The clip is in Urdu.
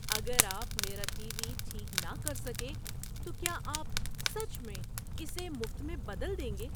اگر آپ میرا ٹی وی ٹھیک نہ کر سکے تو کیا آپ سچ میں اسے مفت میں بدل دیں گے؟